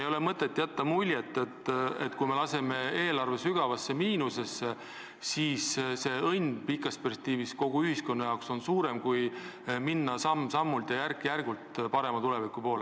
Ei ole mõtet jätta muljet, et kui me laseme eelarve sügavasse miinusesse, siis õnn pikas perspektiivis kogu ühiskonna jaoks on suurem, kui minnes samm-sammult, järk-järgult parema tuleviku poole.